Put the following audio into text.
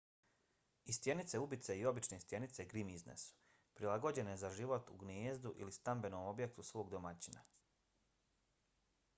i stjenice ubice i obične stjenice grimizne su prilagođene za život u gnijezdu ili stambenom objektu svog domaćina